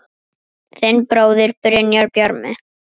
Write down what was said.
Þinn bróðir, Brynjar Bjarmi.